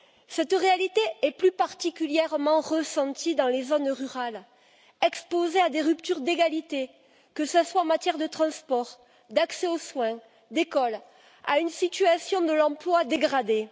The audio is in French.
Cette réalité est plus particulièrement ressentie dans les zones rurales, exposées à des ruptures d'égalité, que ce soit en matière de transports, d'accès aux soins ou d'école, et à une situation de l'emploi dégradée.